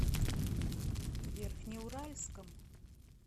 верхнеуральском